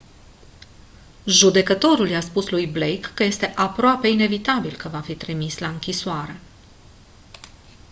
judecătorul i-a spus lui blake că este «aproape inevitabil» că va fi trimis la închisoare.